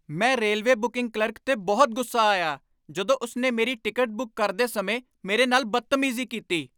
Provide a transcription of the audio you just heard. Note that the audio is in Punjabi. ਮੈਂ ਰੇਲਵੇ ਬੁਕਿੰਗ ਕਲਰਕ 'ਤੇ ਬਹੁਤ ਗੁੱਸਾ ਆਇਆ ਜਦੋਂ ਉਸਨੇ ਮੇਰੀ ਟਿਕਟ ਬੁੱਕ ਕਰਦੇ ਸਮੇਂ ਮੇਰੇ ਨਾਲ ਬਦਤਮੀਜ਼ੀ ਕੀਤੀ।